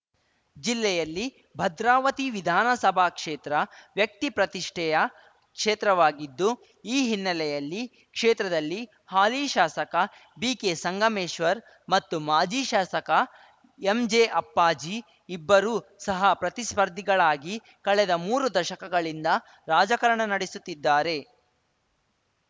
ಜಿಲ್ಲೆಯಲ್ಲಿ ಭದ್ರಾವತಿ ವಿಧಾನಸಭಾ ಕ್ಷೇತ್ರ ವ್ಯಕ್ತಿ ಪ್ರತಿಷ್ಠೆಯ ಕ್ಷೇತ್ರವಾಗಿದ್ದು ಈ ಹಿನ್ನೆಲೆಯಲ್ಲಿ ಕ್ಷೇತ್ರದಲ್ಲಿ ಹಾಲಿ ಶಾಸಕ ಬಿಕೆ ಸಂಗಮೇಶ್ವರ್‌ ಮತ್ತು ಮಾಜಿ ಶಾಸಕ ಎಂಜೆ ಅಪ್ಪಾಜಿ ಇಬ್ಬರು ಸಹ ಪ್ರತಿಸ್ಪರ್ಧಿಗಳಾಗಿ ಕಳೆದ ಮೂರು ದಶಕಗಳಿಂದ ರಾಜಕಾರಣ ನಡೆಸುತ್ತಿದ್ದಾರೆ